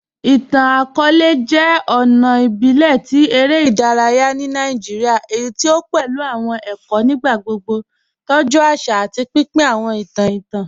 Ìtàn-akọọ̀lẹ̀ jẹ́ ọ̀nà ìbílẹ̀ tí èrè idàráyà ni Nàìjíríà èyí tí o pẹ̀lú awọn èkó nígbàgbogbo, tọ́jú àṣà, àti pínpín awọn ìtàn ìtàn.